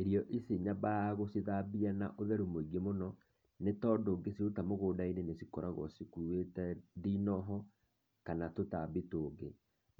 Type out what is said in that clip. Irio ici nyambaga gũcithambia na ũtheru mũingĩ mũno, nĩ tondũ ngĩciruta mũgũnda-inĩ nĩcikoragũo cikuwĩte ndinoho, kana tũtambi tũngĩ.